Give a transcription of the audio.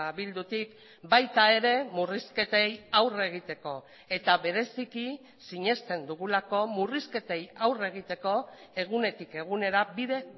bildutik baita ere murrizketei aurre egiteko eta bereziki sinesten dugulako murrizketei aurre egiteko egunetik egunera bide